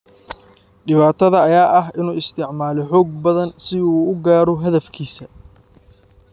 Dhibaatada ayaa ah in uu isticmaalay xoog badan si uu u gaaro hadafkiisaas.